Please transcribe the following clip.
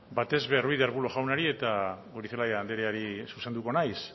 batez ere ruiz de arbulo jaunari eta goirizelaia andreari zuzenduko naiz